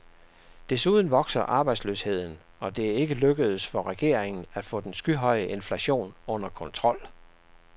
Desuden vokser arbejdsløsheden, og det er ikke lykkedes for regeringen at få den skyhøje inflation under kontrol.